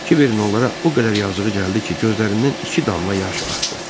Kiverin onlara o qədər yazığı gəldi ki, gözlərindən iki damla yaş axdı.